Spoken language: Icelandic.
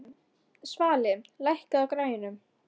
Svali, lækkaðu í græjunum.